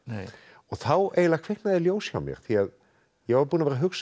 þá eiginlega kviknaði ljós hjá mér ég var búinn að vera að hugsa um